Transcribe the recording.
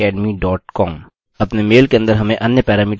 अतः from: admin @phpacademycom